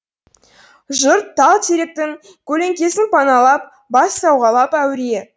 жұрт тал теректің көлеңкесін паналап бас сауғалап әуре